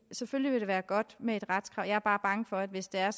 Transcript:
selvfølgelig vil det være godt med et retskrav jeg er bare bange for at hvis det er